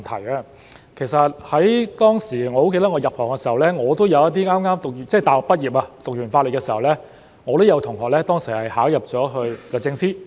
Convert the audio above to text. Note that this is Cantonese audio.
記得我當年入行時，有一些剛大學畢業......修畢法律課程後，我也有同學考入了律政司。